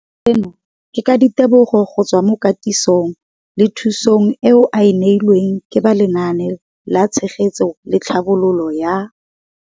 Seno ke ka ditebogo go tswa mo katisong le thu song eo a e neilweng ke ba Lenaane la Tshegetso le Tlhabololo ya